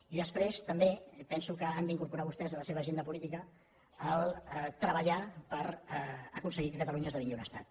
i després també penso que han d’incorporar vostès en la seva agenda política treballar per aconseguir que catalunya esdevingui un estat